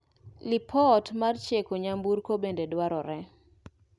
Lipot mar cheko nyamburko bende dwarore.